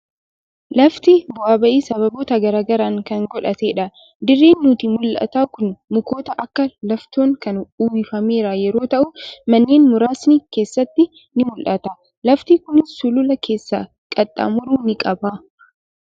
Lafti bu'aa ba'ii sababoota garaa garaan kan godhattedha. Dirreen nutti mul'atu kun mukoota akka laaftoon kan uwwifameeru yeroo ta'u, manneen muraasni keessatti ni mul'atu. Lafti kunis suluula keessa qaxxaamuru ni qaba.